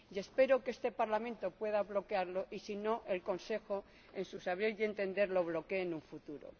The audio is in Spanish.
Y espero que este Parlamento pueda bloquearlo y, si no, que el Consejo, en su saber y entender, lo bloquee en un futuro.